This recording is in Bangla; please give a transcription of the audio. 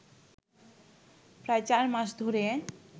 প্রায় চার মাস ধরে